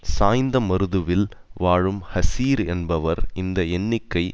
சாய்ந்தமருதுவில் வாழும் ஹசீர் என்பவர் இந்த எண்ணிக்கை